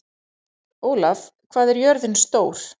Ólaf, hvað er jörðin stór?